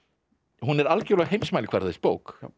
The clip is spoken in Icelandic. hún er algjörlega á heimsmælikvarða þessi bók